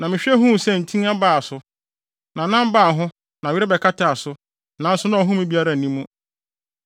Na mehwɛ huu sɛ ntin baa so, na nam baa ho na were bɛkataa so, nanso na ɔhome biara nni mu.